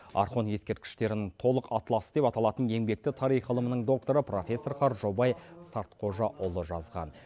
орхон ескерткіштерінің толық атласы деп аталатын еңбекті тарих ғылымының докторы профессор қаржаубай сартқожаұлы жазған